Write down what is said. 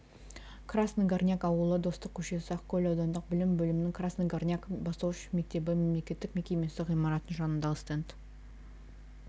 красный горняк ауылы достык көшесі ақкөл аудандық білім бөлімінің красный горняк бастауыш мектебі мемлекеттік мекемесі ғимаратының жанындағы стенд